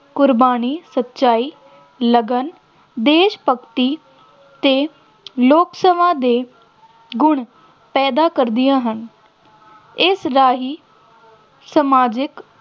ਕੁਰਬਾਨੀ, ਸੱਚਾਈ, ਲਗਨ, ਦੇਸ਼ ਭਗਤੀ ਅਤੇ ਲੋਕ ਸਭਾ ਦੇ ਗੁਣ ਪੈਦਾ ਕਰਦੀਆਂ ਹਨ, ਇਸ ਰਾਹੀਂ ਸਮਾਜਿਕ